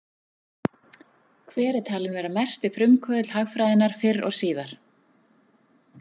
Hver er talinn vera mesti frumkvöðull hagfræðinnar fyrr og síðar?